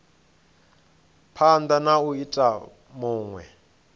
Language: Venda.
phanda na u ita vhunwe